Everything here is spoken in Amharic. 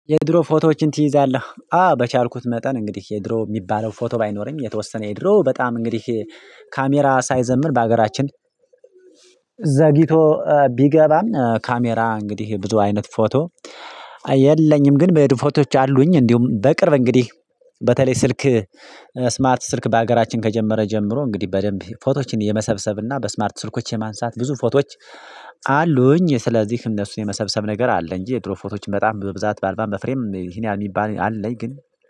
የድሮ ፎቶዎችን ትይዛለህ? አ በቻልኩት መጠን እንግዲህ የድሮ የሚባለው ፎቶ ባይኖረኝ የተወሰነ የድሮ በጣም እንግዲህ ካሜራ ሳይዘምር በሀገራችን ዘግይቶ ቢገባም ካሜራ እንግዲህ ብዙ አይነት ፎቶ። የለኝም ግን በድ ፎቶዎች አሉኝ። እንዲሁም በቅር እንግዲህ በተለይ ስልክ ስማርት ስልክ በሀገራችን ከጀመረ ጀምሮ እንግዲህ በደንብ ፎቶዎችን የመሰብሰብ እና በስማርት ስልኮች የማንሳት ብዙ ፎቶዎች አሉኝ። ስለዚህ እነሱን የመሰብሰብ ነገር አለ እንጂ የድሮ ፎቶዎች በጣም በብዛት በአልባ በፍሬም ይህን ያህላል የሚባል አለኝ። ግን